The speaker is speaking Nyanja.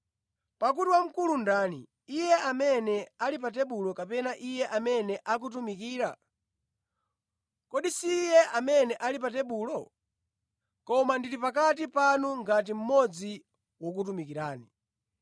Pakuti wamkulu ndani, iye amene ali pa tebulo kapena iye amene akutumikira? Kodi si iye amene ali pa tebulo? Koma ndili pakati panu ngati mmodzi wokutumikirani.